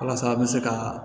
Walasa an bɛ se ka